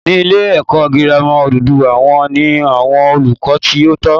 Ní ilé èkó girama odùduwà wón ní àwon olùkó tí ó tó